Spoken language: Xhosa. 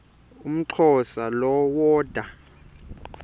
umxhosa lo woda